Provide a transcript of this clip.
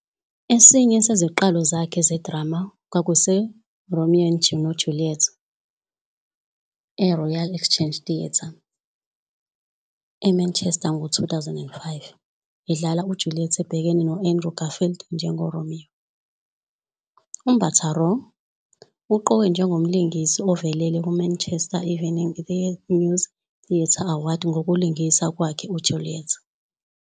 Esinye seziqalo zakhe zedrama "kwakuseRomeo noJuliet" eRoyal Exchange Theatre, eManchester ngo-2005, edlala uJuliet ebhekene noAndrew Garfield njengoRomeo. UMbatha-Raw uqokwe njengomlingisi ovelele kumaManchester Evening News Theatre Awards ngokulingisa kwakhe uJuliet.